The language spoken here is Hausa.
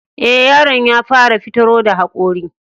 E, yaron ya fara fitaro da haƙori.